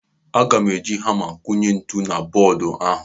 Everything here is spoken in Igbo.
Aga eji hama kunye ntu na bọọdụ ahụ.